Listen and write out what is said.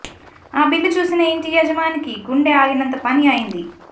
ఆ బిల్లు చూసిన ఇంటి యాజమానికి గుండె ఆగినంత పని అయింది